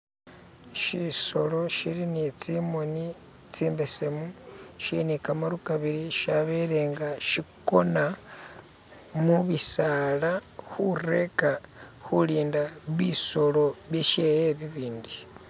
Shisolo shili ne tsimoni tsimbesemu shili ne kamaru kabili shabele nga shikona mubisala khulinda bisolo bishe bibindi.